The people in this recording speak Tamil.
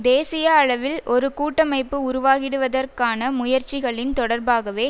தேசிய அளவில் ஒரு கூட்டமைப்பு உருவாகிடுவதற்கான முயற்சிகளின் தொடர்பாகவே